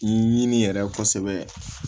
Ɲini yɛrɛ kosɛbɛ